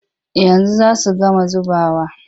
Yanzu za su gama zubawa.